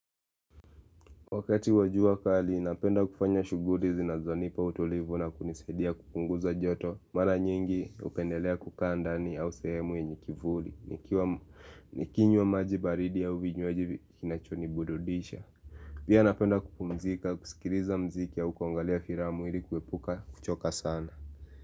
Wakati wajua kali, napenda kufanya shuguri zinazonipa utulivu na kunisadia kupunguza joto Mara nyingi upendelea kukandani au sehemu enyekivuli. Nikinywa maji baridi au vinywaji kinachoni burudisha Pia napenda kupumzika, kusikiriza mziki au kuangalia firamu ili kuepuka kuchoka sana.